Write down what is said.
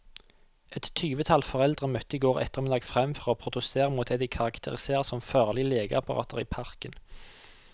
Et tyvetall foreldre møtte i går ettermiddag frem for å protestere mot det de karakteriserer som farlige lekeapparater i parken.